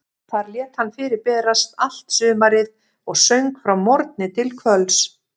Þar lét hann fyrir berast allt sumarið og söng frá morgni til kvölds.